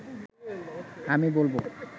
আমি বলব